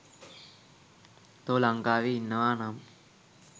තෝ ලංකාවේ ඉන්නව නම්